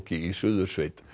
í Suðursveit